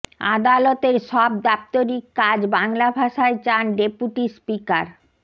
আদালতের সব দাপ্তরিক কাজ বাংলা ভাষায় চান ডেপুটি স্পিকার